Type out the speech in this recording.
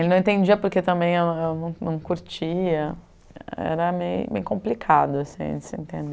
Ele não entendia porque também eu eu não não curtia, era bem complicado, assim, você entende?